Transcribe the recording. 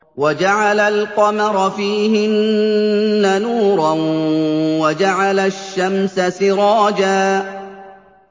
وَجَعَلَ الْقَمَرَ فِيهِنَّ نُورًا وَجَعَلَ الشَّمْسَ سِرَاجًا